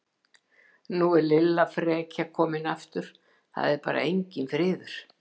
Er nú Lilla frekja komin aftur, það er bara enginn friður!